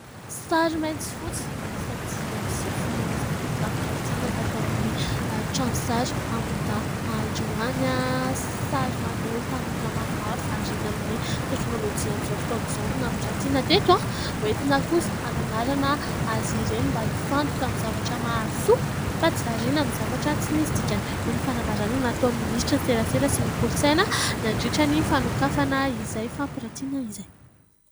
Sary mainty sy fotsy miisa dimy ambin'ny sivifolo amby zato no nampirantiana tato amin'ny trano sary Ambohidahy androany. Sary maneho tanora maromaro variana amin'ny teknôlôjia amin'izao fotoana izao no nampirantiana teto. Hoentina kosa hananarana azy ireny mba hifantoka amin'ny zavatra mahasoa fa tsy variana amin'ny zavatra tsy misy dikany, hoy ny fanambarana nataon'ny minisitry ny serasera sy ny kolontsaina nandritra ny fanokafana izay fampirantiana izay.